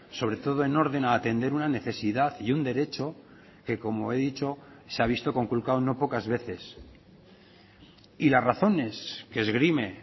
sobre todo en orden a atender una necesidad y un derecho que como he dicho se ha visto conculcado no pocas veces y las razones que esgrime